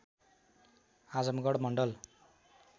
Azamgarh Mandal